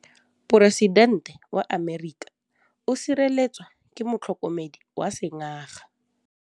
Poresitêntê wa Amerika o sireletswa ke motlhokomedi wa sengaga.